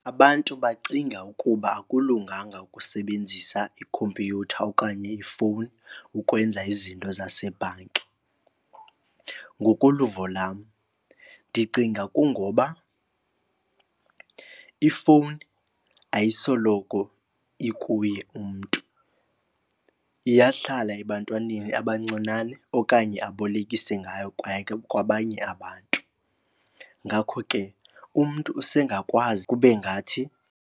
Abantu bacinga ukuba akulunganga ukusebenzisa ikhompyutha okanye ifowuni ukwenza izinto zasebhanki. Ngokoluvo lwam ndicinga kungoba ifowuni ayisoloko ikuye umntu, iyahlala ebantwaneni abancinane okanye abolekise ngayo kwabanye abantu. Ngakho ke umntu usengakwazi kube ngathi.